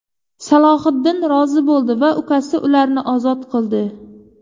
Salohiddin rozi bo‘ldi va ukasi ularni ozod qildi.